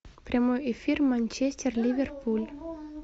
прямой эфир манчестер ливерпуль